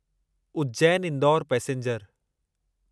Ujjain Indore passenger